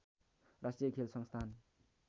राष्‍ट्रिय खेल संस्‍थान